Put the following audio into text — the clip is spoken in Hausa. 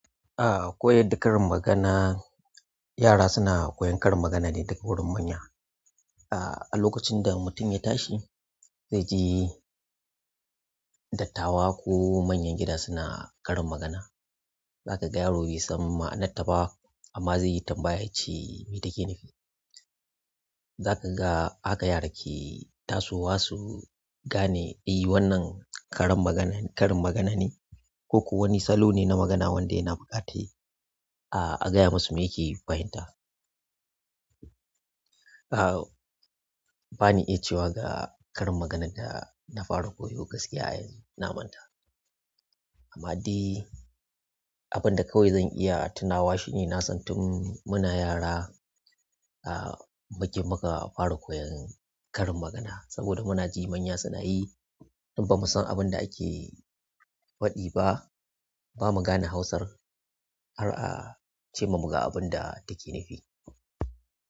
A'a, koyar da karin magana, yara suna koyan karin magana ne daga wurin manya a. A lokacin da mutum ya tashi zai je dattawa ko manyan gida suna karin magana, za ka ga yaro bai san ma'anarta ba amma zai yi tambaya ya ce mai ta ke nufi. Za ka ga haka yara ke tasowa su gane eh wannan karin magana--karin magana ne koko wani salo ne na magana wanda yana buƙatar a--a gaya masa mai yake fahimta. A'a, ba ni iya cewa ga karin maganan da na fara koyo gaskiya a yanzu na manta. Amma dai abin da kawai zan iya tunawa shi ne na san tun muna yara a'a, muke muka fara koyan karin magana saboda muna ji manya suna yi in ba mu san abin da ake faɗi ba, ba mu gane Hausar har a ce ma mu ga abin da take nufi.